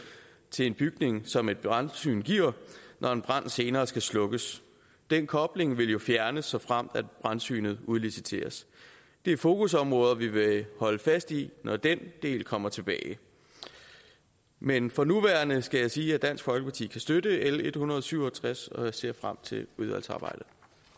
til en bygning som et brandsyn giver når en brand senere skal slukkes den kobling vil jo fjernes såfremt brandsynet udliciteres det er fokusområder vi vil holde fast i når den del kommer tilbage men for nuværende skal jeg sige at dansk folkeparti kan støtte l en hundrede og syv og tres og jeg ser frem til udvalgsarbejdet